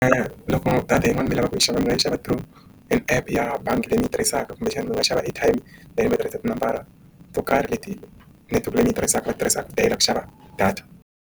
Loko data yin'wana mi lavaka ku yi xava mi nga yi xava draw an epu ya bangi leyi ni yi tirhisaka kumbexani mi nga xava airtime leyi ni yi tirhisa tinambara to karhi leti netiweke leyi ni yi tirhisaka va ti tirhisaka ku tiyela ku xava data.